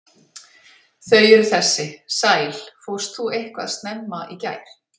Þau eru þessi: sæl, fórst þú eitthvað snemma í gær?